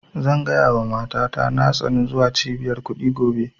Zan gaya wa mata ta na tsani zuwa cibiyar kuɗi gobe